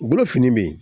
U bolo fini bɛ yen